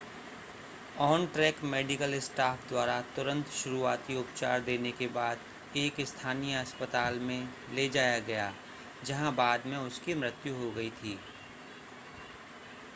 on-track medical staff द्वारा तुरंत शुरुआती उपचार देने के बाद एक स्थानीय अस्पताल में ले जाया गया जहां बाद में उसकी मृत्यु हो गई थी